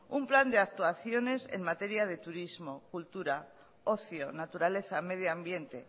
un plan de actuaciones en materia de turismo cultura ocio naturaleza medioambiente